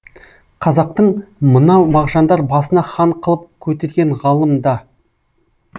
қазақтың мынау мағжандар басына хан қылып көтерген ғалым да